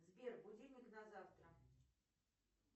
сбер будильник на завтра